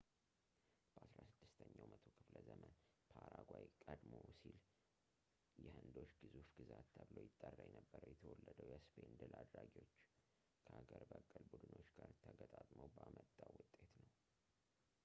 በ 16 ኛው መቶ ክፍለ ዘመን ፓራጓይ ቀደም ሲል የሕንዶች ግዙፍ ግዛት ተብሎ ይጠራ የነበረው የተወለደው የእስፔን ድል አድራጊዎች ከአገር-በቀል ቡድኖች ጋርተጋጥመው በመጣው ውጤት ነው